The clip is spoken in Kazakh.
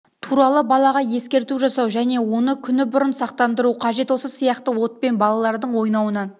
туралы балаға ескерту жасау және оны күні бұрын сақтандыру қажет осы сияқты отпен балалардың ойнауынан